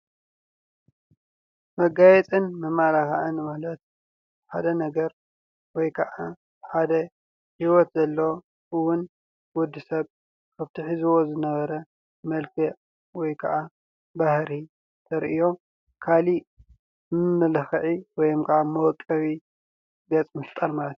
መጋየፅን መማላኽዕን ማለት ሓደ ነገር ወይ ካዓ ሓደ ህይወት ዘሎዎ እውን ወዲሰብ ኣብቲ ሒዝዎ ዝነበረ መልክዕ ወይ ካዓ ባህሪ ዘርእዮም ካሊእ መመላኽዒ ወይ ካዓ መወቀቢ ገጽ ምፍጣር ማለት እዩ።